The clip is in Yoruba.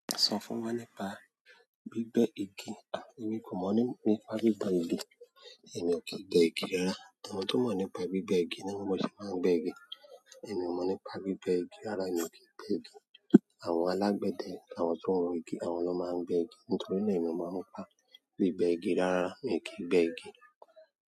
Sọ fún wa nípa gbígbẹ́ igi. A! Èmi kò mọ̀ nípa gbígbẹ́ igi, èmi ò kí gbé igi rárá. Àwọn tí ó mọ̀ nípa gbígbẹ́ igi ni ọmọ ẹlòmíràn máa ń gbé igi. Èmi ò mọ̀ nípa gbígbẹ́ igi rárá, èmi kìí gbé igi. Àwọn alágbẹ̀dẹ àwọn tó ń ro igi àwọn ló máa ń gbé igi nítorí náà èmi ò mọ̀ nípa gbígbẹ́ igi rárá, èmi kìí gbé igi.